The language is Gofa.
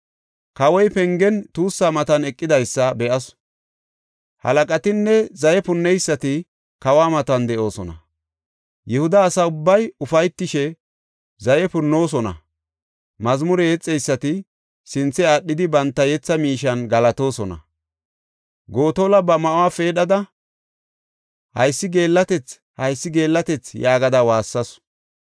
Kawoy pengen tuussa matan eqidaysa be7asu. Halaqatinne zaye punneysati kawa matan de7oosona; Yihuda asa ubbay ufaytishe zaye punnoosona; mazmure yexeysati sinthe aadhidi banta yetha miishen galatoosona. Gotola ba ma7uwa peedhada, “Haysi geellatethi! Haysi geellatethi!” yaagada waassasu.